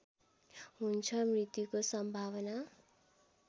हुन्छ मृत्युको सम्भावना